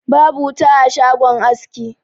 Babu wuta a shagon aski.